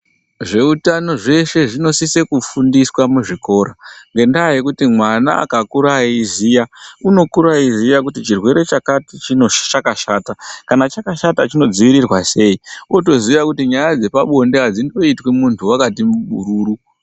Zveutano zveshee zvinosisa kufundiswa muzvikora ngendaa yokuti mwana akakura eiziya unokura eiziya kuti chirwere chakati chino chakashata kana chakashata chinodziirirwa sei otoziya kuti nyaya dzepa bonde adzingoitwi muntu wakati bururu.